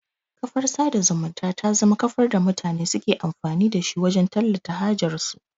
Kafar sada zumunta ta zama kafar da mutane suke amfani da shi wajan tallata hajar su